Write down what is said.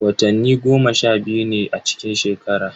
Watanni goma sha biyu ne a cikin shekara.